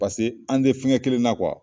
Paseke an tɛ fɛngɛ kelenna .